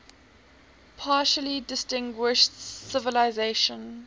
particularly distinguished civilization